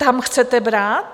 Tam chcete brát?